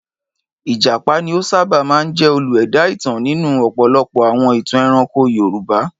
Ìjàpá ni ó sábà máa ń jẹ́ olú-ẹ̀dá ìtàn nínú ọ̀pọ̀lọpọ̀ àwọn ìtàn ẹranko Yorùbá.